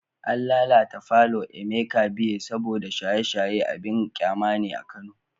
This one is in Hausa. An lalata palour Emeka Beer saboda shaye-shaye abin kyama ne a Kano